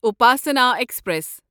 Upasana express